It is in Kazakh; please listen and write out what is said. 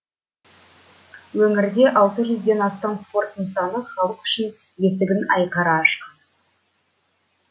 өңірде алты жүзден астам спорт нысаны халық үшін есігін айқара ашқан